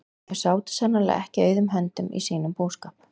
Þau sátu sannarlega ekki auðum höndum í sínum búskap.